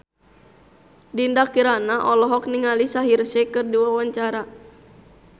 Dinda Kirana olohok ningali Shaheer Sheikh keur diwawancara